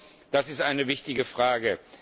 Ich glaube, das ist eine wichtige Frage.